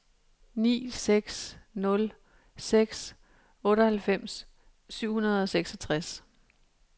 ni seks nul seks otteoghalvfems syv hundrede og seksogtres